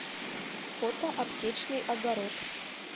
фото аптечный огород